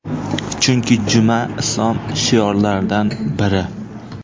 Chunki juma – Islom shiorlaridan biri.